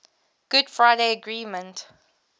good friday agreement